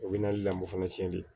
O bɛ na mɔ fana tiɲɛ de